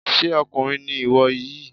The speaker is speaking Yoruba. Ṣé ọkùnrin ni ìwọ yìí?